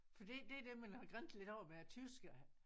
Fordi det er det man har grinet lidt af med æ tyskere